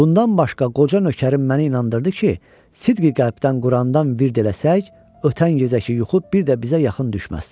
Bundan başqa qoca nökərim məni inandırdı ki, sidqi-qəlbdən Qurandan virt eləsək, ötən gecəki yuxu bir də bizə yaxın düşməz.